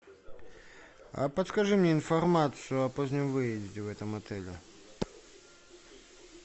а подскажи мне информацию о позднем выезде в этом отеле